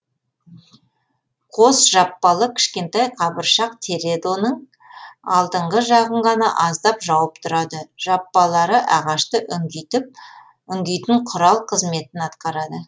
қос жаппалы кішкентай қабыршақ тередоның алдыңғы жағын ғана аздап жауып тұрады жаппалары ағашты үңгитіп үңгитін құрал қызметін атқарады